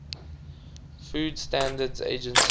food standards agency